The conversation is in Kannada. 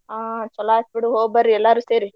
ಆ ಚಲೋ ಆತ್ ಬಿಡು ಹೋಗ್ಬರ್ರೀ ಎಲ್ಲಾರು ಸೇರಿ.